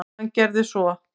Hann gerði svo.